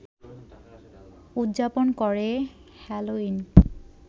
উদযাপন করে হ্যালোইন